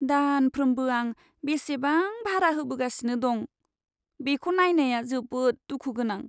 दानफ्रोमबो आं बेसेबां भारा होबोगासिनो दं, बेखौ नायनाया जोबोद दुखु गोनां।